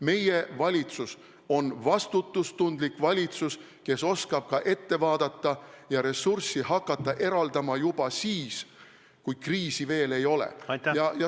Meie valitsus on vastutustundlik valitsus, kes oskab ka ette vaadata ja hakata ressurssi eraldama juba siis, kui kriisi veel ei ole.